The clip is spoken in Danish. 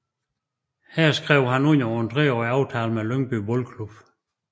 Her skrev han under på en treårig aftale med Lyngby Boldklub